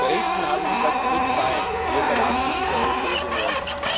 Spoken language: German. Die Briten haben gesagt Good bye, wir verlassen diese Europäische Union.